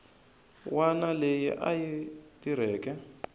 wana leyi a yi tirheke